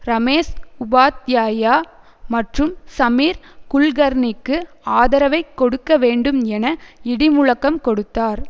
ரமேஷ் உபாத்யாயா மற்றும் சமீர் குல்கர்ணிக்கு ஆதரவைக் கொடுக்க வேண்டும் என இடி முழக்கம் கொடுத்தார்